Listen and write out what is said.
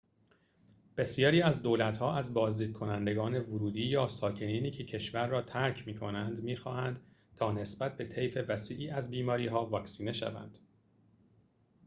بسیاری از دولت‌ها از بازدیدکنندگان ورودی یا ساکنینی که کشور را ترک می‌کنند می‌خواهند تا نسبت به طیف وسیعی از بیماری‌ها واکسینه شوند